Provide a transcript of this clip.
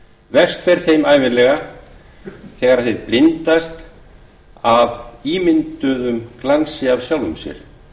verst fer þeim ævinlega þegar þeir blindast af ímynduðum glansi af sjálfum sér